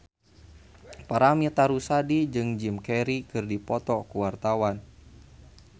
Paramitha Rusady jeung Jim Carey keur dipoto ku wartawan